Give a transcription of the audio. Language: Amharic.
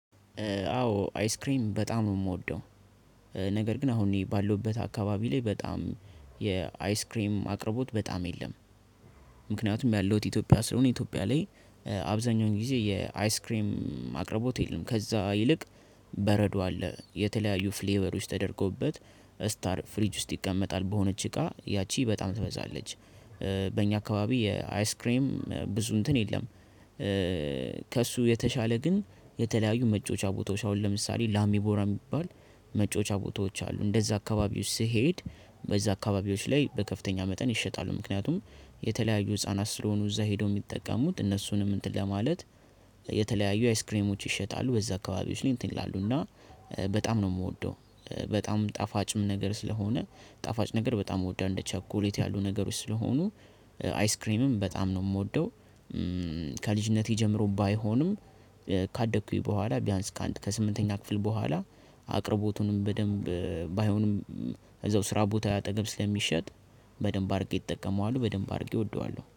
አዎ አይስክሬም በጣም የምወደው ነገር ግን አሁን ባለሁበት አካባቢ ላይ በጣም የአይስክሬም አቅርቦት በጣም የለም። ምክንያቱም ያለሁት ኢትዮጵያ ስለሆነ ኢትዮጵያ ላይ አብዛኛውን ጊዜ የአይስክሬም አቅርቦት የለም። ከዛ ይልቅ በረዶ አለ። የተለያዩ ፍሌበሮች ተደርገውበት ስታር ፍሪጅ ውስጥ ይቀመጣል በሆነች እቃ ያቺ በጣም ትበዛለች። በእኛ አካባቢ የአይስክሬም ብዙ እንትን የለም። ከእሱ የተሻለ ግን የተለያዩ መጮዎቻ ቦታዎች አሁን ለምሳሌ ላሚ ቦራ የሚባል መጫዎች ቦታዎች አሉ። እንደዛ አካባቢዎች ስሄድ በዛ አካባቢዎች ላይ በከፍተኛ መጠን ይሸጣሉ ምክንያቱም የተለያዩ ህፃናት ስለሆኑ እዛ ሄደው የሚጠቀሙት እነሱንም እንትን ለማለት የተለያዩ አይስክሬሞች ይሸጣሉ፤ በዛ አካባቢዎች ላይ እንትን ይላሉ እና በጣም ነው የምወደው፣ በጣም ጣፋጭም ነገር ስለሆነ ጣፋጭ ነገር በጣም እወዳለሁ። እንደ ቸኮሌት ያሉ ነገሮች ስለሆኑ አይስክሬምም በጣም ነው የምወደው። ከልጅነቴ ጀምሮ ባይሆንም ካደኩኝ በኋላ ቢያንስ ከስምንተኛ ክፍል በኋላ አቅርቦቱንም በደንብ ባይሆንም እዛው ስራ ቦታ አጠገብ ስለሚሸጥ በደንብ አድርጌ እጠቀመዋለሁ፣ በደንብ አድርጌ እወደዋለሁ።